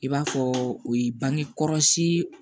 I b'a fɔ o ye bange kɔrɔsii